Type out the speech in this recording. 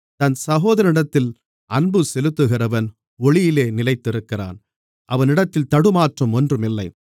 தன் சகோதரனிடத்தில் அன்புசெலுத்துகிறவன் ஒளியிலே நிலைத்திருக்கிறான் அவனிடத்தில் தடுமாற்றம் ஒன்றுமில்லை